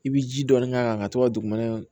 I bi ji dɔɔni k'a kan ka to ka dugumana